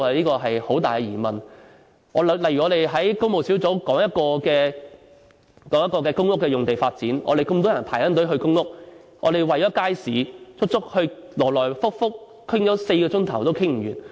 舉例來說，我們在工務小組委員會討論公屋用地發展，有那麼多人排隊輪候公屋，但我們為了街市問題，來回討論了4小時也討論不完。